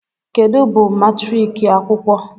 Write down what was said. kedu bụ matriki akwụkwọ